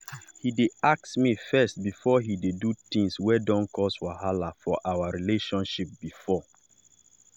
he dey ask me first before he do things wey don cause wahala for our relationship before.